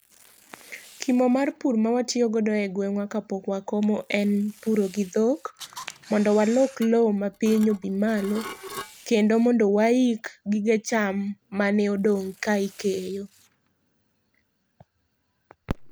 Kimo mar pur ma watiyo go e gweng' wa kapok wa komo en puro gi dhok mondo walok lo ma piny odhi malo kendo mondo waik gige cham ma ne odong ka ikeyo.